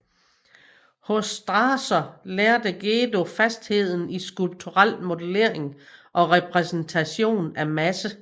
Hos Strasser lærte Gedő fastheden i skulpturel modellering og repræsentation af masse